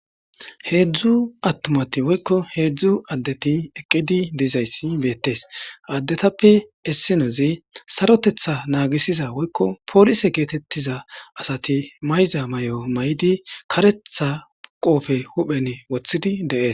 heedzdzu attumati woykko heedzdzu addeti eqqidi diizayssi beettes addetappe issinozi sarotetha naagisiza woykko poolise geetettiza asati mayza may'o may'di karetha qoofe huphen woththidi dees